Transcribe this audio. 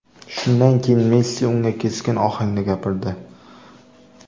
Shundan keyin Messi unga keskin ohangda gapirdi.